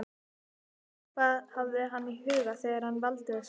Hvað hafði hann í huga þegar hann valdi þessi verk?